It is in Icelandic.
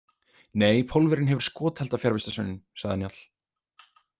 Nei, Pólverjinn hefur skothelda fjarvistarsönnun, sagði Njáll.